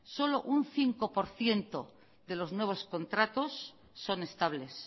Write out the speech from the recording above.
solo un cinco por ciento de los nuevos contratos son estables